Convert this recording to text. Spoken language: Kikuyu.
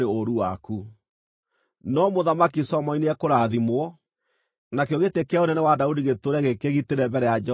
No Mũthamaki Solomoni nĩekũrathimwo, nakĩo gĩtĩ kĩa ũnene wa Daudi gĩtũũre gĩkĩgitĩre mbere ya Jehova nginya tene.”